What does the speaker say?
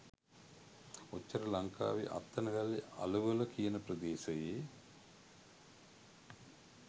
ඔච්චර ලංකාවෙ අත්තනගල්ලෙ අලවල කියන ප්‍රදේශයේ